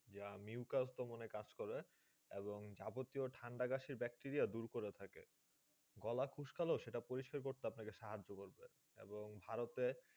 যা mucus দমনে কাজ করে এবং যাবতীয় ঠাণ্ডা কাশির ব্যাকটেরিয়া দূর করে থাকে। গলা খুস্কালো সেটা পরিস্কার করতে আপনাকে সাহায্য করবে এবং ভারতে